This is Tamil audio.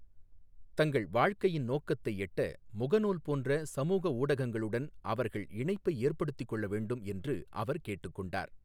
தங்கள் வாழ்க்கையின் நோக்கத்தை எட்ட முகநூல் போன்ற சமூகஊடகங்களுடன் அவர்கள் இணைப்பை ஏற்படுத்திக்கொள்ளவேண்டும் என்று அவர் கேட்டுக்கொண்டார்.